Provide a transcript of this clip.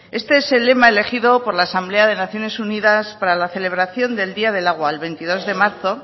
este es el lema elegido por la asamblea de naciones unidas para la celebración del día del agua el veintidós de marzo